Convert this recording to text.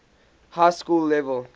high school level